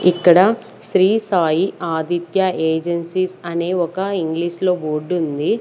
ఇక్కడ శ్రీ సాయి ఆదిత్య ఏజెన్సీస్ అనే ఒక ఇంగ్లీష్ లో బోర్డు ఉంది.